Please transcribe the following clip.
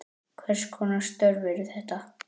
Hvers konar störf eru þetta?